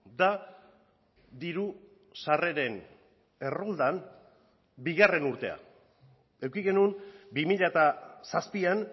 da diru sarreren erroldan bigarren urtea eduki genuen bi mila zazpian